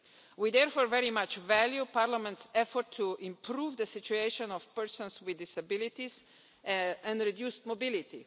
We, therefore, very much value Parliament's effort to improve the situation of persons with disabilities and reduced mobility.